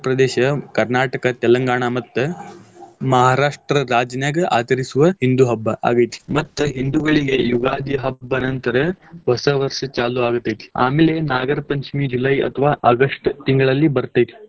Andhra Pradesh, Telangana ಮತ್ತ್ Maharashtra ರಾಜಿನ್ಯಾಗ ಆಚರಿಸುವ ಹಿಂದೂ ಹಬ್ಬಾ ಆಗೈತಿ ಮತ್ತ್ ಹಿಂದೂಗಳಿಗೆ ಯುಗಾದಿ ಹಬ್ಬ ನಂತರ ಹೊಸ ವರ್ಷ್ ಚಾಲೂ ಆಗ್ತೇತಿ, ಆಮೇಲೆ ನಾಗರ ಪಂಚಮಿ July ಅಥವಾ August ತಿಂಗಳಲ್ಲಿ ಬರ್ತೇತಿ.